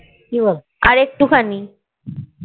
আর একটু খানি